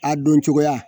A don cogoya